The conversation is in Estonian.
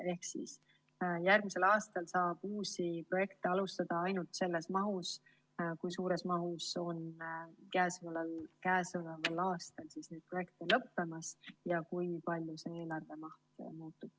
Ehk järgmisel aastal saab uusi projekte alustada ainult selles mahus, millises mahus käesoleval aastal projekte lõpeb ja kui palju see eelarvemaht muutub.